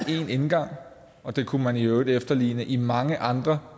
er én indgang det kunne man i øvrigt efterligne i mange andre